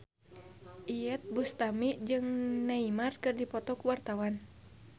Iyeth Bustami jeung Neymar keur dipoto ku wartawan